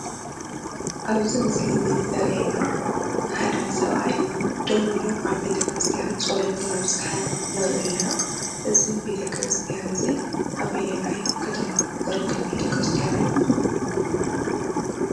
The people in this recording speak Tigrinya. ኣብ እዚ ምስሊ ዘርእየና ሓደ ሰብኣይ ደው ኢሉ ኣብ ቤተክርስትያን ፀሎት እናብፀሐ ንሪኢ ኣለና፡፡ እዚ ቤተክርስትያን እዚ ኣበየናይ ከተማ ዝርከብ ቤተክርስትያን እዩ?